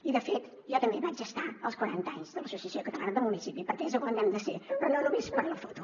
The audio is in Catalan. i de fet jo també vaig estar als quaranta anys de l’associació catalana de municipis perquè és on hem de ser però no només per a la foto